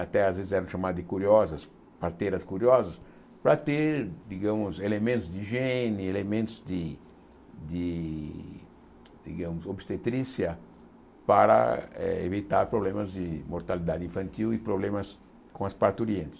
até às vezes eram chamadas de curiosas, parteiras curiosas, para ter digamos elementos de higiene, elementos de de digamos obstetrícia, para eh evitar problemas de mortalidade infantil e problemas com as parturientes.